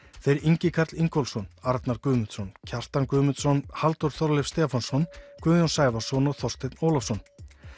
þeir Ingi Karl Ingólfsson Arnar Guðmundsson Kjartan Guðmundsson Halldór Þorleifs Stefánsson Guðjón Sævarsson og Þorsteinn Ólafsson